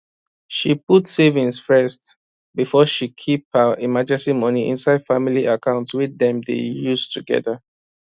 she put saving first before she keep her emergency money inside family account wey dem dey use together